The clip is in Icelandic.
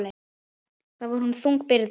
Það var honum þung byrði.